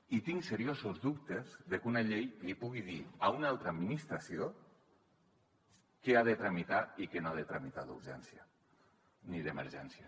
i tinc seriosos dubtes de que una llei li pugui dir a una altra administració què ha de tramitar i què no ha de tramitar d’urgència ni d’emergència